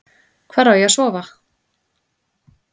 Hvar á ég að sofa?